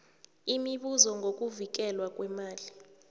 imibuzo ngokuvikelwa kweemali